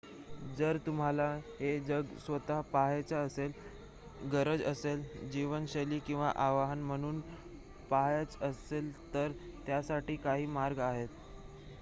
जर तुम्हाला हे जग स्वतः पहायचे असेल गरज असेल जीवनशैली किंवा आव्हान म्हणून पहायचे असेल तर त्यासाठी काही मार्ग आहेत